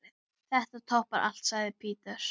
Þetta toppar allt, sagði Peter.